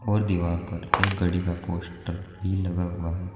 और दीवार पर एक गाड़ी का पोस्टर भी लगा हुआ है।